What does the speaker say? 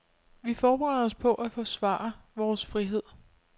Vi forbereder os på at forsvare vores frihed.